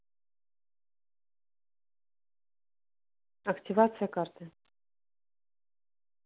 активация карты